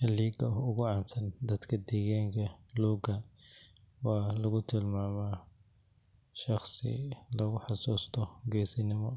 Halyeyga ugu caansan dadka deegaanka Luuga waxaa lagu tilmaamaa shaqsi lagu xasuusto geesinimo,